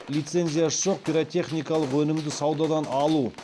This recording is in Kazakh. лицензиясы жоқ пиротехникалық өнімді саудадан алу